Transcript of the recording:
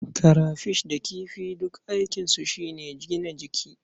Karafish da kifi duk aikinsu shi ne gina jiki.